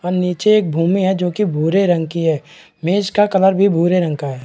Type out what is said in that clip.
और नीचे एक भूमि हैं जो की भूरे रंग की है मेज का कलर भी भूरे रंग का है।